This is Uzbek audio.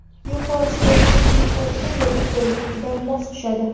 Yuqorisiga yengil kofta yoki ko‘ylak juda mos tushadi.